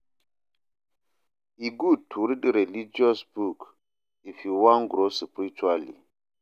E gud to read religious book if yu wan grow spiritually